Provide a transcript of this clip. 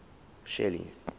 shelly